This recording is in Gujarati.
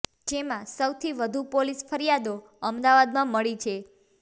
જેમા સૌથી વધુ પોલીસ ફરિયાદો અમદાવાદમાં મળી છે